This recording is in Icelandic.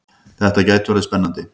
Þetta gæti orðið spennandi!